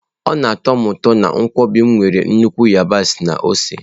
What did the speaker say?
Ọ na atọ m ụtọ na nkwobi m nwere nnukwu yabasị na ose.